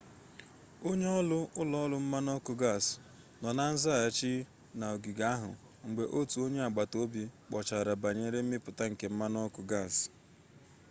onye-oru ulo-oru mmanu-oku gas no na nzaghachi na ogige ahu mgbe otu onye-agbata-obi kpochara banyere mmiputa nke mmanu-oku gas